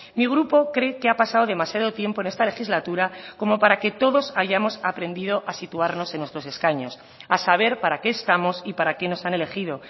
mi grupo cree que ha pasado demasiado tiempo en esta legislatura como para que todos hayamos aprendido a situarnos en nuestros escaños a saber para qué estamos y para qué nos han elegido